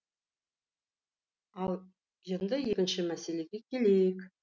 ал енді екінші мәселеге келейік